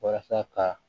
Walasa ka